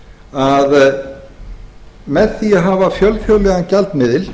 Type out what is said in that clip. að með því að hafa fjölþjóðlegan gjaldmiðil